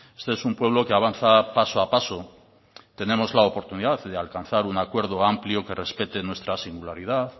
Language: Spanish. este es un pueblo que avanza paso a paso tenemos la oportunidad de alcanzar un acuerdo amplio que respete nuestra singularidad